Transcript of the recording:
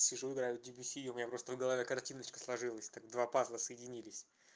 сижу играю в дебюсси у меня просто в голове картиночка сложилось так два пазла соединились